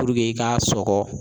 Puruke i ka sɔgɔ.